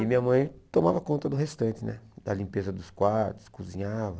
E minha mãe tomava conta do restante né, da limpeza dos quartos, cozinhava.